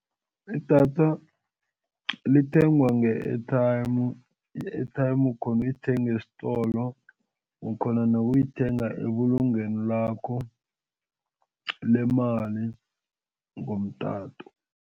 Idatha lithengwa nge-airtime i-airtime ukhona ukuyithenga esitolo ukhona nokuyithenga ebulungweni lakho lemali ngomtato.